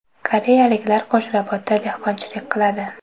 Koreyaliklar Qo‘shrabotda dehqonchilik qiladi.